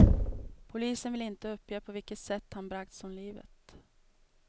Polisen vill inte uppge på vilket sätt han bragts om livet.